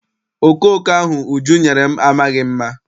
Okooko ahụ Uju nyere m amaghị mma.